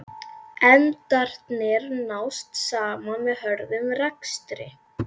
Endarnir nást saman með hröðum rekstri.